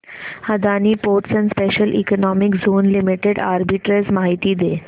Adani ports and special economic zone limited arbitrage माहिती दे